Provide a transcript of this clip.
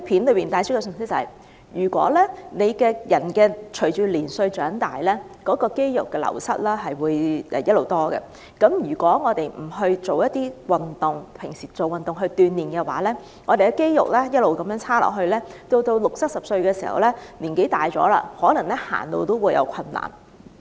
它希望帶出的信息是，隨着年歲增長，人體肌肉會漸漸流失，如果我們日常不勤做運動鍛鍊，肌肉狀況便會逐漸變差，到了60歲或70歲，年紀漸長時，可能連走路也有困難。